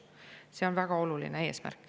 See on väga oluline.